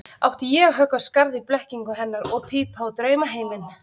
Átti ég að höggva skarð í blekkingu hennar og pípa á draumaheiminn?